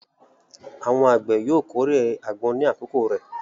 Àwọn àgbẹ̀ yóò kórè àgbọn ní àkókò rẹ̀.